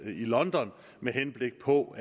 london med henblik på